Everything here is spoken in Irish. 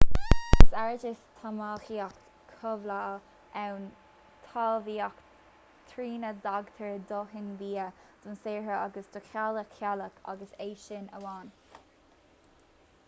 is éard is talmhaíocht chothabhála ann talmhaíocht trína dtáirgtear dóthain bia don saothróir agus dá theaghlach/teaghlach agus é sin amháin